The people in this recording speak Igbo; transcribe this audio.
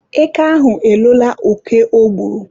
Eke ahụ elola oke o gburu.